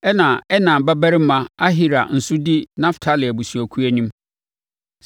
Ɛnna na Enan babarima Ahira nso di Naftali abusuakuo anim.